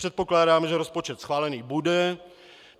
Předpokládám, že rozpočet schválený bude.